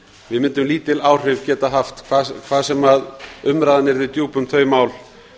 við gætum lítil áhrif haft hvað sem umræðan yrði djúp um þau mál